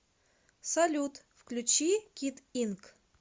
салют включи кид инк